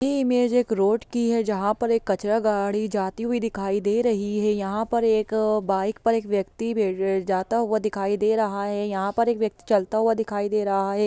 ये इमेज एक रोड की है जहां पे कचड़ा गाढ़ी जाती हुए दिखाई दे रही है यहाँ पर एक बाइक पे एक व्यक्ति जाता हुआ दिखाई दे रहा है यहाँ पे एक व्यक्ति चलता हुआ दिखाई दे रहा है।